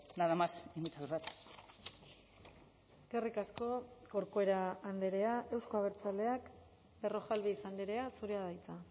nada más y muchas gracias eskerrik asko corcuera andrea euzko abertzaleak berrojalbiz andrea zurea da hitza